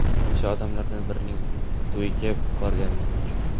O‘sha odamlardan birining to‘yiga bormagani uchun.